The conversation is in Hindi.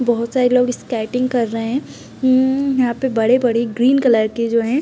बहुत सारे लोग स्केटिंग कर रहे हैं। हम्म यहां पे बड़े बड़े ग्रीन कलर के जो हैं --